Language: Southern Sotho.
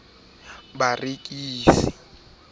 ya tlhabollo o ka e